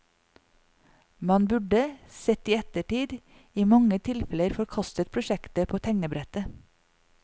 Man burde, sett i ettertid, i mange tilfeller forkastet prosjektet på tegnebrettet.